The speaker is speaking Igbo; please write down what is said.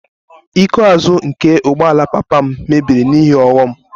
Iko azụ nke ụgbọala papa m mebiri n'ihe ọghọm